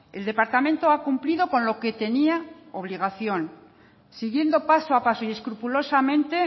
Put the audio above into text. el departamento ha cumplido con lo que tenía obligación siguiendo paso a paso y escrupulosamente